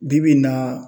Bi bi in na